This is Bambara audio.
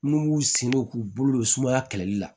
N'u b'u sen don k'u bolo don sumaya kɛlɛli la